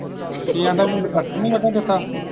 ਕੀ ਆਂਦਾ ਵੀ ਮੈਨੂੰ ਬਰਸਨ ਨਹੀਂ ਵੱਡਣ ਦਿੱਤਾ।